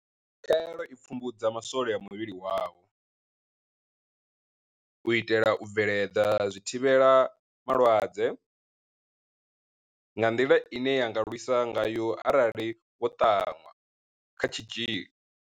Khaelo i pfumbudza ma swole a muvhili wavho u itela u bveledza zwithivhelama lwadze, nga nḓila ine ya nga lwisa ngayo arali vho ṱanwa kha tshitzhili.